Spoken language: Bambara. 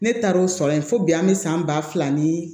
Ne taara o sɔrɔ yen fo bi an bɛ san ba fila ni